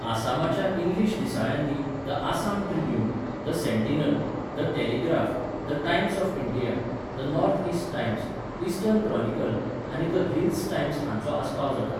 आसामाच्या English दिसाळ्यांनी the Assam Tribune, the Sentinel, the Telegraph, the Times of India, the North East Times, Eastern Chronicle आनी the Hills Times हांचो आस्पाव जाता.